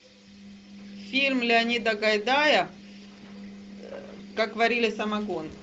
фильм леонида гайдая как варили самогон